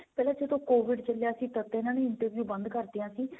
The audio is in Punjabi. ਪਹਿਲਾਂ ਜਦੋਂ covid ਚੱਲਿਆ ਸੀ ਤੱਦ ਇਹਨਾਂ ਨੇ interview ਬੰਦ ਕਰਤੀਆਂ ਸੀ